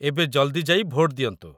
ଏବେ ଜଲ୍‌ଦି ଯାଇ ଭୋଟ ଦିଅନ୍ତୁ